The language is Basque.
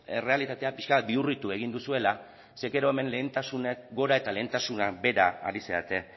errealitatea pixkat bihurritu egin duzuela ze gero hemen lehentasunak gora eta lehentasunak behera ari zarete